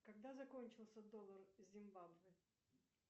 когда закончился доллар зимбабве